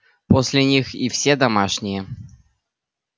после них и все домашние